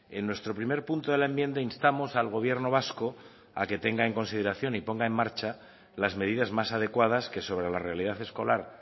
en nuestro primer punto de la enmienda instamos al gobierno vasco a que tenga en consideración y ponga en marcha las medidas más adecuadas que sobre la realidad escolar